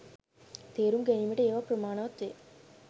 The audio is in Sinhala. තේරුම් ගැනීමට ඒවා ප්‍රමාණවත් වේ.